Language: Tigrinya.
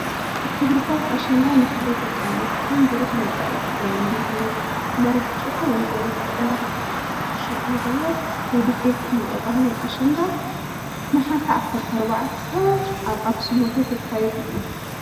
ክብርታት ኣሽንዳ ንክብሪ ደቂ ኣንስትዮ ብሩህ መፃኤ ትግራይን ብዝብል መሪሕ ጭርሖ ወ/ሪት ኣሸንዳ 2016 ዓ/ም ውድድር ፅባቐን ባህልን ኣሽንዳ ነሐሴ 14 ኣብ ኣክሱም ሁቴል ክካየድ እዩ።